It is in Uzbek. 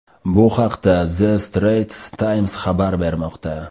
Bu haqda The Straits Times xabar bermoqda .